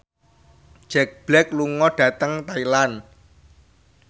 Jack Black lunga dhateng Thailand